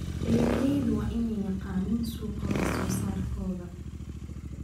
Beeraleydu waa inay yaqaaniin suuqa wax soo saarkooda.